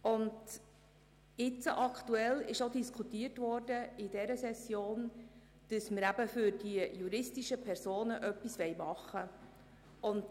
Während dieser Session wurde diskutiert, ob für die juristischen Personen etwas gemacht werden soll.